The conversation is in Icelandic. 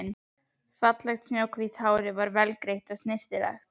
Fallegt snjóhvítt hárið var vel greitt og snyrtilegt.